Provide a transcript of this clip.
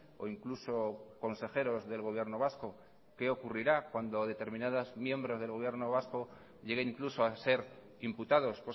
o incluso consejeros del gobierno vasco qué ocurrirá cuando determinados miembros del gobierno vasco llegue incluso a ser imputados